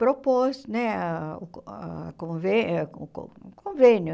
propôs né ah ah convê o co convênio.